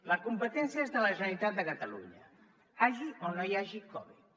la competència és de la generalitat de catalunya hi hagi o no hi hagi covid